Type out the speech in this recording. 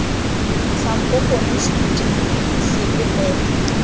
sampo gongwe seduti sepe fela